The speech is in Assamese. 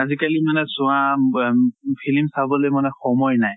আজি কালি মানে চোৱা আম ব ফিলিম চাবলৈ মানে সময় নাই।